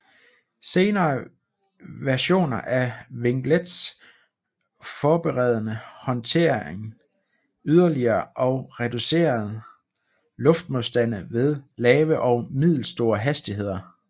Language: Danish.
Senere versioner af vinglets forbedrede håndteringen yderligere og reducerede luftmodstande ved lave og middelstore hastigheder